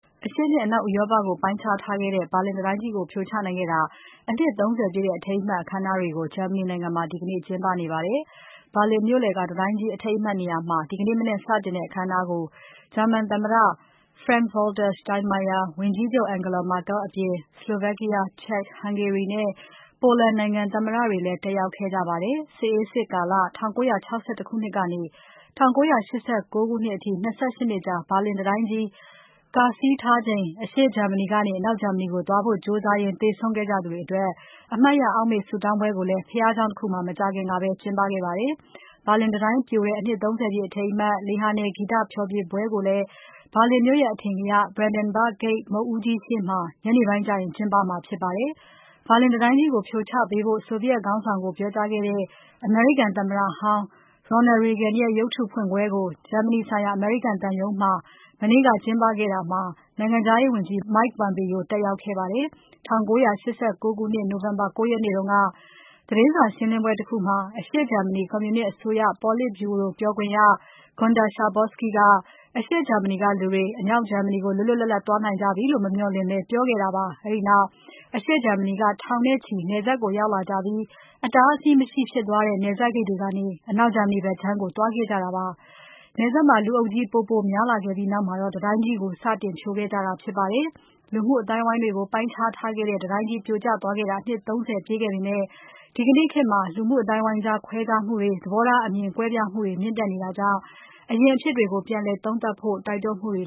အရှေ့နဲ့ အနောက်ဥရောပကို ပိုင်းခြားထားခဲ့တဲ့ ဘာလင်တံတိုင်းကြီး ပြိုကျခဲ့တဲ့ အနှစ် ၃၀ ပြည့် အထိမ်းအမှတ် အခမ်းအနားတွေကို ဂျာမနီနိုင်ငံမှာ ဒီကနေ့ ကျင်းပနေပါတယ်။ ဘာလင်မြို့လယ်က တံတိုင်းကြီး အထိမ်းအမှတ်နေရာမှာ ဒီနေ့မနက်စတင်တဲ့ အခမ်းအနားကို ဂျာမန်သမ္မတ Frank-Walter Steinmeier၊ ဝန်ကြီးချုပ် Angela Merkel အပြင် Slovakia, Czech, Hungary နဲ့ Poland နိုင်ငံ သမ္မတတွေလည်း တက်ရောက်ခဲ့ကြပါတယ်။ စစ်အေးစစ်ကာလ ၁၉၆၁ ခုနှစ်ကနေ ၁၉၈၉ ခုနှစ်အထိ ၂၈ နှစ်ကြာ ဘာလင်တံတိုင်းကြီး ကာဆီးထားချိန် အရှေ့ဂျာမနီကနေ အနောက်ဂျာမနီကို သွားဖို့ကြိုးစားရင်း သေဆုံးခဲ့ကြသူတွေအတွက် အမှတ်ရ အောက်မေ့ဆုတောင်းပွဲကိုလည်း ဘုရားကျောင်းတခုမှာ မကြာခင်ကပဲ ကျင်းပခဲ့ပါတယ်။ ဘာလင်တံတိုင်းပြိုတဲ့ အနှစ် ၃၀ ပြည့် အထိမ်းအမှတ် လေဟာနယ် ဂီတဖျော်ဖြေပွဲကိုလည်း ဘာလင်မြို့ရဲ့ အထင်ကရ Brandenburg Gate မုခ်ဦးကြီးရှေ့မှာ ညနေပိုင်းကျရင် ကျင်းပမှာဖြစ်ပါတယ်။ ဘာလင်တံတိုင်းကြီးကို ဖြိုချပေးဖို့ ဆိုဗီယက်ခေါင်းဆောင်ကို ပြောကြားခဲ့တဲ့ အမေရိကန်သမ္မတဟောင်း Ronald Reagan ရဲ့ ရုပ်တုဖွင့်ပွဲကို ဂျာမနီဆိုင်ရာ အမေရိကန်သံရုံးမှာ မနေ့က ကျင်းပခဲ့တာမှာ နိုင်ငံခြားရေးဝန်ကြီး Mike Pompeo တက်ရောက်ခဲ့ပါတယ်။ ၁၉၈၉ ခုနှစ် နိုဝင်ဘာ ၉ ရက်နေ့က သတင်းစာရှင်းလင်းပွဲတခုမှာ အရှေ့ဂျာမနီ ကွန်မြူနစ်အစိုးရ ပေါလစ်ဗျူရိုပြောခွင့်ရ Guenter Schabowski က အရှေ့ဂျာမနီကလူတွေ အနောက်ဂျာမနီကို လွတ်လွတ်လပ်လပ် သွားနိုင်ကြပြီလို့ မမျှော်လင့်ဘဲ ပြောခဲ့တာပါ။ အဲဒီနောက် အရှေ့ဂျာမနီက ထောင်နဲ့ချီ နယ်စပ်ကို ရောက်လာကြပြီး အတားအဆီးမရှိဖြစ်သွားတဲ့ နယ်စပ်ဂိတ်တွေကနေ အနောက်ဂျာမနီဘက်ခြမ်းကို သွားခဲ့ကြတာပါ။ လူအုပ်ကြီး ပိုပိုများလာပြီးနောက်မှာတော့ တံတိုင်းကြီးကို စတင်ဖြိုခဲ့ကြတာဖြစ်ပါတယ်။ လူမှုအသိုင်းအဝိုင်းတွေကို ပိုင်းခြားထားခဲ့တဲ့ တံတိုင်းကြီး ပြိုကျခဲ့တာ အနှစ် ၃၀ ပြည့်ခဲ့ပေမယ့် ဒီကနေ့ခေတ်မှာ လူမှုအသိုင်းအဝိုင်းကြား ခွဲခြားမှုတွေ၊ သဘောထားအမြင်တွေ၊ ကွဲပြားမှုတွေ မြင့်တက်နေတာကြောင့် အရင်အဖြစ်တွေကို ပြန်သုံးသပ်ဖို့လည်း တိုက်တွန်းမှုတွေ